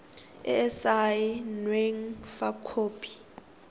e e saenweng fa khopi